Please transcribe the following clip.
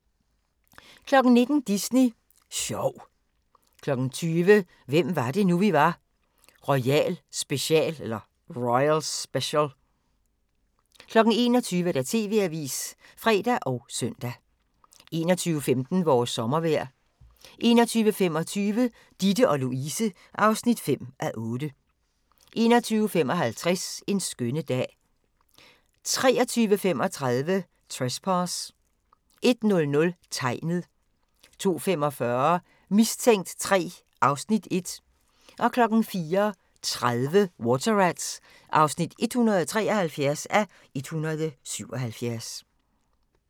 19:00: Disney Sjov 20:00: Hvem var det nu, vi var - royal special 21:00: TV-avisen (fre og søn) 21:15: Vores sommervejr 21:25: Ditte & Louise (5:8) 21:55: En skønne dag 23:35: Trespass 01:00: Tegnet 02:45: Mistænkt 3 (Afs. 1) 04:30: Water Rats (173:177)